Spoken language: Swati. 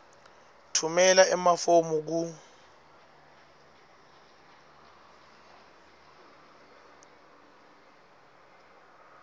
tfumela emafomu ku